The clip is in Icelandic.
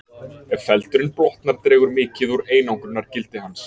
Ef feldurinn blotnar dregur mikið úr einangrunargildi hans.